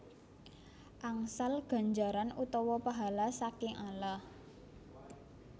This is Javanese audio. Angsal ganjaran utawa pahala saking Allah